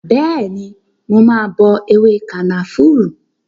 Bẹẹni, mà á bọ ewé kànáfùrú